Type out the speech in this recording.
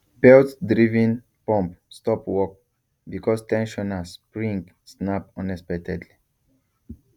beltdriven pump stop work because ten sioner spring snap unexpectedly